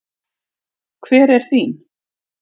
Hver er þín?